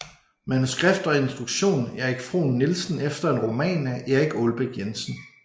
Manuskript og instruktion Erik Frohn Nielsen efter en roman af Erik Aalbæk Jensen